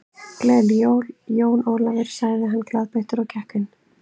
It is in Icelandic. Gleðileg jól, Jón Ólafur sagði hann glaðbeittur og gekk inn.